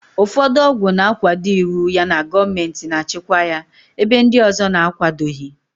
Ụfọdụ ọgwụ na-akwado iwu yana gọọmentị na-achịkwa ya, ebe ndị ọzọ na-akwadoghị.